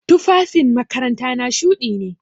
Tufafin makarantana shuɗi ne.